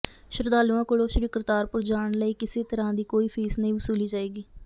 ਸ਼ਰਧਾਲੂਆਂ ਕੋਲੋਂ ਸ੍ਰੀ ਕਰਤਾਰਪੁਰ ਜਾਣ ਲਈ ਕਿਸੇ ਤਰ੍ਹਾਂ ਦੀ ਕੋਈ ਫੀਸ ਨਹੀਂ ਵਸੂਲੀ ਜਾਏਗੀ